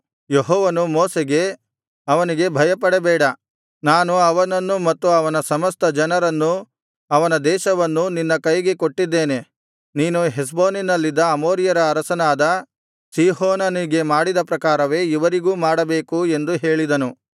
ಯೆಹೋವನು ಮೋಶೆಗೆ ಅವನಿಗೆ ಭಯಪಡಬೇಡ ನಾನು ಅವನನ್ನು ಮತ್ತು ಅವನ ಸಮಸ್ತ ಜನರನ್ನೂ ಅವನ ದೇಶವನ್ನೂ ನಿನ್ನ ಕೈಗೆ ಕೊಟ್ಟಿದ್ದೇನೆ ನೀನು ಹೆಷ್ಬೋನಿನಲ್ಲಿದ್ದ ಅಮೋರಿಯರ ಅರಸನಾದ ಸೀಹೋನನಿಗೆ ಮಾಡಿದ ಪ್ರಕಾರವೇ ಇವರಿಗೂ ಮಾಡಬೇಕು ಎಂದು ಹೇಳಿದನು